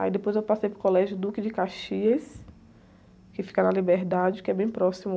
Aí depois eu passei para o Colégio, que fica na, que é bem próximo.